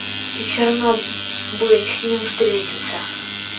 и все равно бы с ним встретился